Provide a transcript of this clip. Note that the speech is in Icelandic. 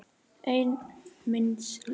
Einn míns liðs.